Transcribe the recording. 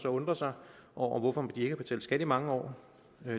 undre sig over hvorfor de ikke har betalt skat i mange år